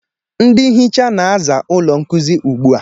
Ndị nhịcha na-aza ụlọ nkuzi ugbu a